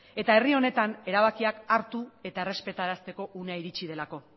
eta herri honetan erabakiak hartu eta errespetarazteko unea iritsi delako